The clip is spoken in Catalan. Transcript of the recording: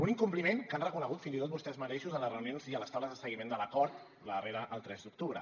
un incompliment que han reconegut fins i tot vostès mateixos en les reunions i a les taules de seguiment de l’acord la darrera el tres d’octubre